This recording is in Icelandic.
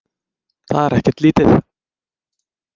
Það er ekkert lítið!